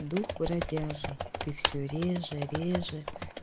дух бродяжий ты все реже реже